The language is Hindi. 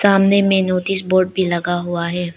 सामने में नोटिस बोर्ड भी लगा हुआ है।